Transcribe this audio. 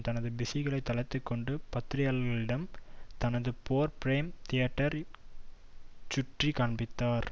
தனது பிஸிகளை தளர்த்திக்கொண்டு பத்திரிகையாளர்களிடம் தனது போர் பிரேம் தியேட்டரை சுற்றி காண்பித்தார்